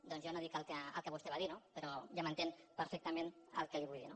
doncs jo no dic el que vostè va dir no però ja m’entén perfectament el que li vull dir